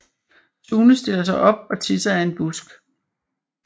Sune stiller sig op og tisser af en busk